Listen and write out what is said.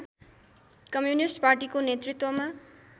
communist पार्टीको नेतृत्वमा